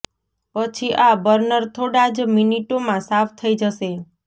પછી આ બર્નર થોડા જ મીનીટો માં સાફ થઇ જશે